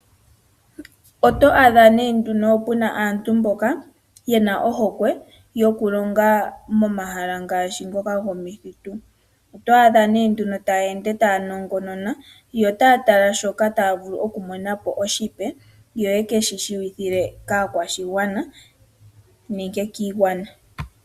Oto adha nee nduno puna aantu mboka yena ohokwe yokulonga momahala ngaashi ngoka gomithitu. Otwaadha nee nduno taya ende taya nongonona, yo taya tala sho taya vulu okumonapo oshipe yo yekeshi shiwithile kaakwashigwana nenge kiigwana.